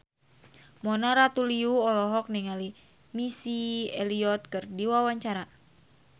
Mona Ratuliu olohok ningali Missy Elliott keur diwawancara